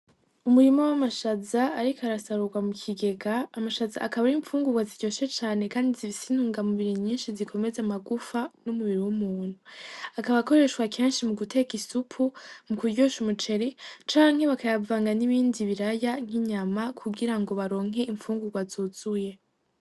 Umurimo w'amashaza, ariko arasarurwa mu kigega amashaza akabora imfungurwa ziryoshe cane, kandi zivisintunga mubiri nyinshi zikomeze amagufa n'umubiri w'umuntu akabakoreshwa kenshi mu guteka isupu mu kuryusha umuceri canke bakayavanga n'ibindi biraya nk'inyama kugira ngo baronke impfungurwa azuzuye.